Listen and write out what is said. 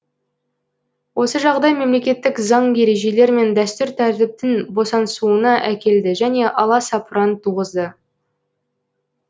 осы жағдай мемлекеттік заң ережелер мен дәстүр тәртіптің босаңсуына әкелді және аласапыран туғызды